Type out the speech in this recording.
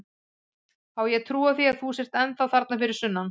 Á ég að trúa því að þú sért ennþá þarna fyrir sunnan?